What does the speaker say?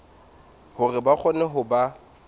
hore ba kgone ho ba